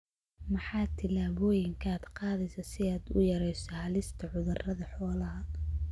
Maxaa tillaabooyinka aad qaadaysaa si aad u yarayso halista cudurrada xoolaha?